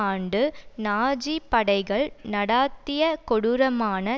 ஆண்டு நாஜி படைகள் நடாத்திய கொடூரமான